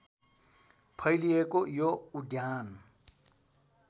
फैलिएको यो उद्यान